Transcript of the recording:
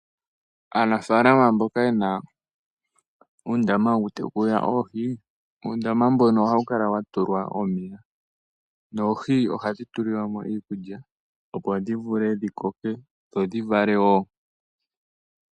Aanafalama mboka yena uundama woku tekula oohi uundama mbono ohawu kala wa tulwa omeya noohi ohadhi tulilwa mo iikulya opo oohi vule dhi koke dho dhi valewo.